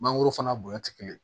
Mangoro fana bonya tɛ kelen ye